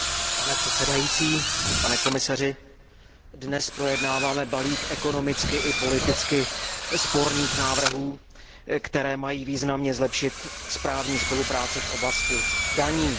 Pane předsedající, pane komisaři, dnes projednáváme balík ekonomicky i politicky sporných návrhů, které mají významně zlepšit správní spolupráci v oblasti daní.